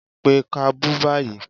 Pé kábù báyìí!